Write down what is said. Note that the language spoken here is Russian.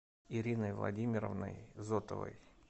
ириной владимировной зотовой